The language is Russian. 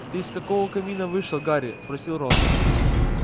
ты из какого камина вышел гарри спросил рон